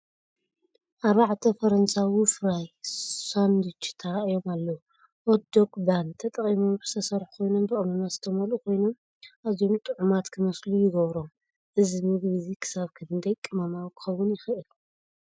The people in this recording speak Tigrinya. ኣርባዕተ ፈረንሳዊ ፍራይ ሳንድዊች ተራእዮም ኣለዉ። ሆት ዶግ ባን ተጠቒሞም ዝተሰርሑ ኮይኖም ብቀመማት ዝተመልኡ ኮይኖም ኣዝዮም ጥዑማት ክመስሉ ይገብሮም። እዚ ምግቢ እዚ ክሳብ ክንደይ ቀመማዊ ክኸውን ይኽእል?